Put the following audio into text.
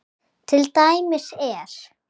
Til dæmis er